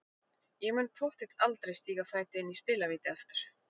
Ég mun pottþétt aldrei stíga fæti inn í spilavíti aftur.